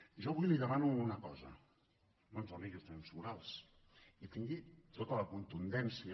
jo avui li demano una cosa no ens doni lliçons morals i tingui tota la contundència